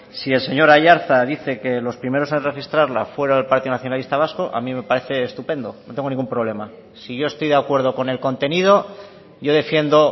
si el señor aiartza dice que los primeros en registrarla fue el partido nacionalista vasco a mí me parece estupendo no tengo ningún problema si yo estoy de acuerdo con el contenido yo defiendo